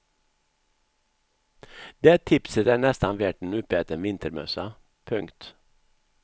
Det tipset är nästan värt en uppäten vintermössa. punkt